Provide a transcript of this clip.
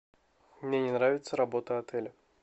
мне не нравится работа отеля